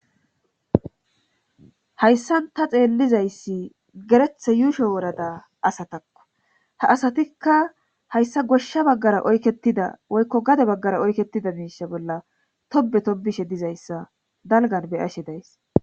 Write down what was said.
hayssan ta xeellizayssi gerethe yuusho worada asatakko ha asatikka hayssa goshsha baggara oyketida woykko gade baggara oyketida miisha bolla tobe to bishe dizayssa dalgan beyashe days